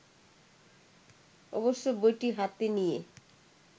অবশ্য বইটি হাতে নিয়ে